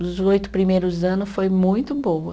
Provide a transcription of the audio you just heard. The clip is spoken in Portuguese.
Nos oito primeiros anos foi muito boa.